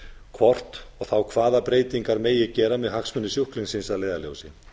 hvort og þá hvaða breytingar megi gera með hagsmuni sjúklingsins að leiðarljósi